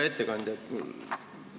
Hea ettekandja!